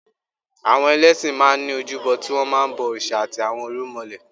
Àwọn ẹlẹ́ṣin máa ní ojúbọ tí wọn máa ń bọ òrìṣà àti àwọn irúmọlẹ̀.